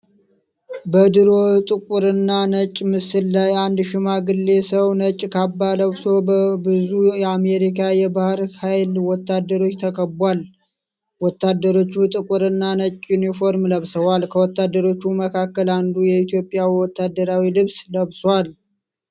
በድሮ ጥቁርና ነጭ ምስል ላይ አንድ ሽማግሌ ሰው ነጭ ካባ ለብሶ በብዙ የአሜሪካ የባሕር ኃይል ወታደሮች ተከቧል። ወታደሮቹ ጥቁርና ነጭ ዩኒፎርም ለብሰዋል፤ ከወታደሮቹ መካከል አንዱ የኢትዮጵያን ወታደራዊ ልብስ ለብሷል።